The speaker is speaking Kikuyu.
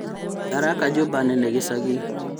Araka nyũmba nene gĩcagi